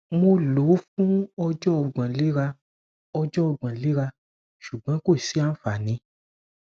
mo lo o fun ọjọ ogbon lera ọjọ ogbon lera ṣugbọn ko si anfani